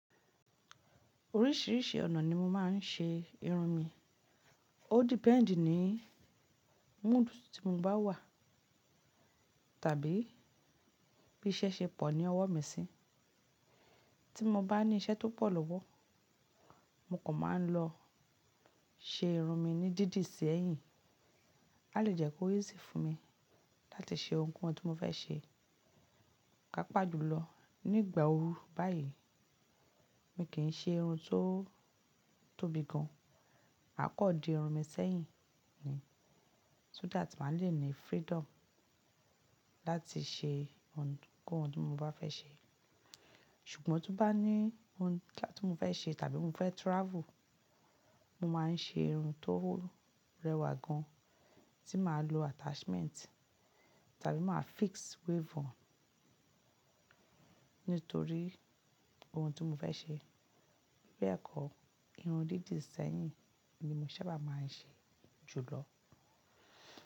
Oríṣìíríṣìí ọ̀nà ni mo máa ń ṣe irun mi. Ó depend ní mood tí mo bá wà, tàbí bí iṣẹ́ ṣe pọ̀ ní ọwọ́ mi sí. Tí mo bá ní iṣẹ́ tó pọ̀ lówó, mo kan máa ń lọ ṣe irun mi ní dídì sí ẹ̀yìn. A lè jẹ́ kó easy fún mi láti ṣe ohunkóhun tí mo fẹ́ ṣe. Pàápàá jùlọ ní ìgbà ooru báyìí, mi kì í ṣe irun tó tóbi gan. A kò di irun mi sẹ́yìn ni, so that màá le ní freedom láti ṣe ohunkóhun tí mo bá fẹ́ ṣe. Ṣùgbọ́n tó bá ní ohun tí mo fẹ́ ṣe tàbí mo fẹ́ travel, mo máa ń ṣe irun tó rẹwà gan tí màá lo attachment tàbí màá fix weave on. Nítorí ohun tí mo fẹ́ ṣe. Bẹ́ẹ̀ kọ́, irun dídì sí yìn ni mo sábà máa ń ṣe jùlọ.